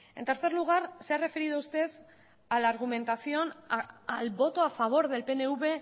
en tercer lugar se ha referido usted a la argumentación al voto a favor del pnv